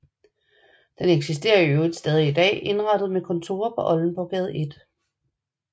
Den eksisterer i øvrigt stadig i dag indrettet med kontorer på Oldenborggade 1